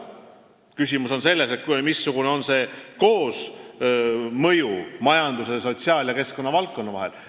Küsimus on selles, missugune on majandus-, sotsiaal- ja keskkonnavaldkonna koosmõju.